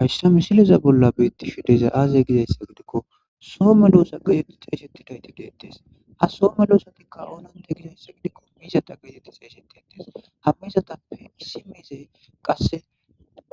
Hayssa misileza bolla beetti shu dezay aazey gizayssa gidikko soo me doosa gide xeeshettidayti deettes ha soome loosatikka oonante gizayssa gidikko miizata geetetti s eeshetetes hammizatappe issi miizey qasse